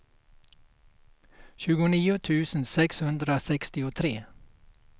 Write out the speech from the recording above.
tjugonio tusen sexhundrasextiotre